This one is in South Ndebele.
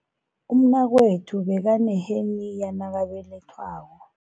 Umnakwethu bekaneheniya nakabelethwako.